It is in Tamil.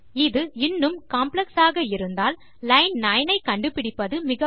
இது இன்னும் காம்ப்ளெக்ஸ் ஆக இருந்தால் லைன் 9 ஐ கண்டு பிடிப்பது சிரமம்